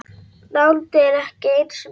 Nándin er ekki eins mikil.